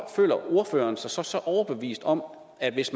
føler ordføreren sig så overbevist om at hvis